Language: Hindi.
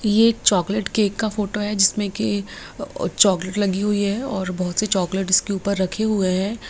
ये एक चॉकलेट केक का फोटो है जिसमें की चॉकलेट लगी हुई है और बहुत सी चॉकलेट इसके उपर रखे हुए हैं।